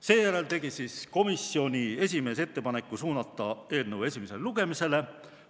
Seejärel tegi komisjoni esimees ettepaneku suunata eelnõu esimesele lugemisele.